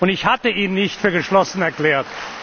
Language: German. Ich hatte ihn nicht für geschlossen erklärt.